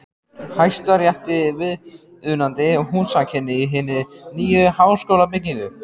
Hæstarétti viðunandi húsakynni í hinni nýju háskólabyggingu.